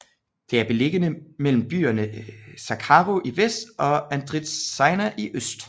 Det er beliggende mellem byerne Zacharo i vest og Andritsaina i øst